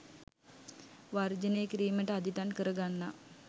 වර්ජනය කිරීමට අදිටන් කර ගන්නා